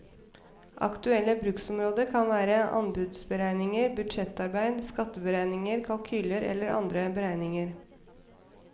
Aktuelle bruksområder kan være anbudsberegninger, budsjettarbeid, skatteberegninger, kalkyler eller andre beregninger.